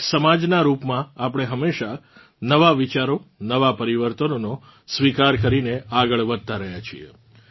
એક સમાજનાં રૂપમાં આપણે હમેશા નવાં વિચારો નવા પરિવર્તનોનો સ્વીકાર કરીને આગળ વધતાં રહ્યાં છીએ